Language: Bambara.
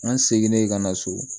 An seginnen ka na so